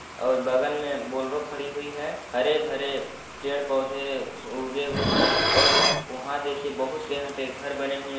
और बगल मे बोलरो (बोलेरो) खडी हुई है हरे-भरे पेड-पौधे अ उगे हुवे हैं और वहाँ देखिये बहुत से यहाँ पे घर बने हुवे--